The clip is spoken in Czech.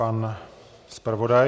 Pan zpravodaj.